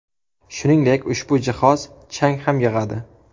Shuningdek, ushbu jihoz chang ham yig‘adi.